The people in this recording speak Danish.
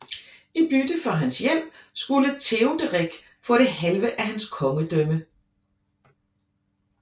I bytte for hans hjælp skulle Teoderik få det halve af hans kongedømme